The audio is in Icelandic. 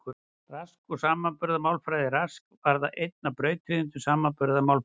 Rask og samanburðarmálfræðin Rask varð einn af brautryðjendum samanburðarmálfræðinnar.